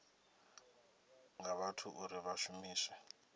nga vhathu uri vha shumiswe